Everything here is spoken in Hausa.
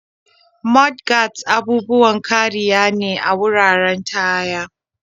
Mudguards' abubuwan kariya ne a wuraren taya.